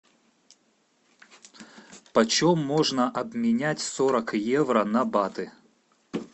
почем можно обменять сорок евро на баты